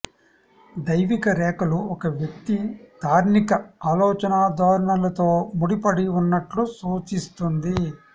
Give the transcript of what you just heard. దైవిక రేఖలు ఒక వ్యక్తి తార్కిక ఆలోచనా ధోరణులతో ముడిపడివున్నట్లు సూచిస్తుంది